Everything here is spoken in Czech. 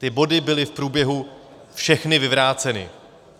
Ty body byly v průběhu všechny vyvráceny.